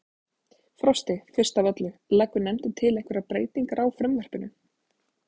Frosti, fyrst af öllu, leggur nefndin til einhverjar breytingar á frumvarpinu?